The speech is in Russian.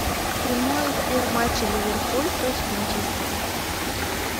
прямой эфир матча ливерпуль против манчестера